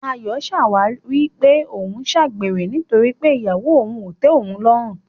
Ayọ̀ ń ṣàwáwí pé òun ń ṣàgbèrè nítorí pé ìyàwó òun ò tẹ́ òun lọ́rùn.